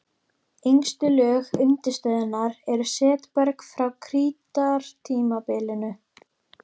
Yngstu lög undirstöðunnar eru setberg frá krítartímabilinu.